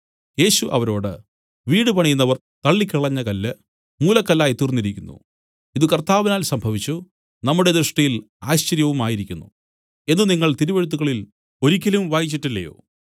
യേശു അവരോട് വീടുപണിയുന്നവർ തള്ളിക്കളഞ്ഞ കല്ല് മൂലക്കല്ലായി തീർന്നിരിക്കുന്നു ഇതു കർത്താവിനാൽ സംഭവിച്ചു നമ്മുടെ ദൃഷ്ടിയിൽ ആശ്ചര്യവുമായിരിക്കുന്നു എന്നു നിങ്ങൾ തിരുവെഴുത്തുകളിൽ ഒരിക്കലും വായിച്ചിട്ടില്ലയോ